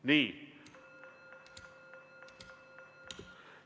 Nii.